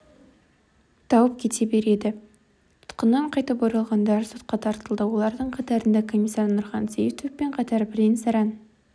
тауып кете береді тұтқыннан қайтып оралғандар сотқа тартылды олардың қатарында комиссар нұрхан сейітовпен қатар бірен-саран